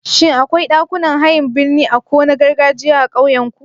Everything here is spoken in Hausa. Shin akwai ɗakunan hayan birni a ko na gargajiya a ƙauyenku?